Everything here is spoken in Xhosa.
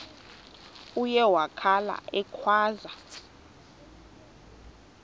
uye wakhala ekhwaza